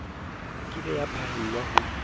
ke be ya phaellwa ho